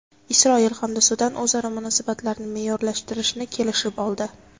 Isroil hamda Sudan o‘zaro munosabatlarni me’yorlashtirishni kelishib oldi.